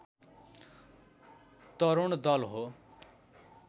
तरूणदल हो